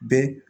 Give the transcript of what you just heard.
Bɛɛ